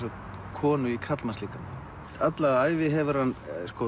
konu í karlmannslíkama alla ævi hefur hann